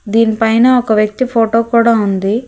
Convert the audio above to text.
దీని పైన ఒక వ్యక్తి ఫోటో కూడ ఉంది.